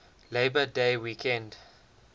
labor day weekend